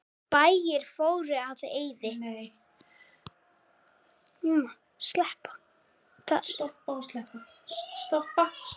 Bæir fóru í eyði.